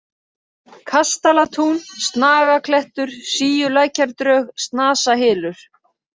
Kastalatún, Snagaklettur, Síulækjardrög, Snasahylur